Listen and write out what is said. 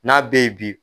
N'a bɛ ye bi